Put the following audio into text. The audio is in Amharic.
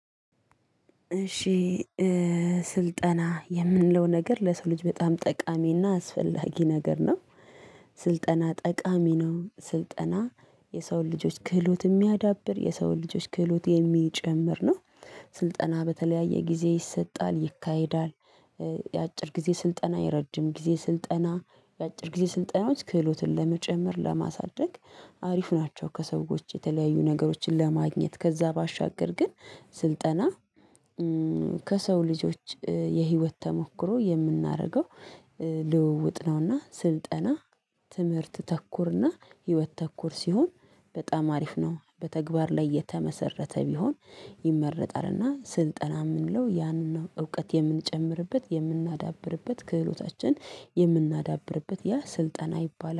እሺ ስልጠና የምንለው ነገር ለሰው ልጅ በጣም ጠቃሚና አስፈላጊ ነገር ነው። ስልጠና ጠቃሚ ነው ስልጠና የሰው ልጆች ክህሎት የሚያዳብር የሰው ልጆች ክህሎት የሚጨምር ነው። ስልጠና በተለያየ ጊዜ ይሰጣል ይካሄዳል። የአጭር ጊዜ ስልጠና የረጅም ጊዜ ስልጠና የአጭር ጊዜ ስልጠናዎች ክህሎትን ለመጨመር ለማሳደግ አሪፍ ናቸው። ከሰዎች የተለያዩ ነገሮችን ለማግኘት ከዛ ባሻገር ግን ስልጠና ከሰው ልጆች የህይወት ተሞክሮ የምናደርገው። ልውውጥ ነው። እና ስልጠና ትምህርት ተኩር እና ህይወት ተኩር ሲሆን በጣም አሪፍ ነው። በተግባር ላይ የተመሰረተ ቢሆን ይመረጣልና ስልጠና የምንለው ያንን እውቀት የምንጨምርበት የምናዳብርበት ክህሎታችን የምናዳብርበት ያ ስልጠና ይባላል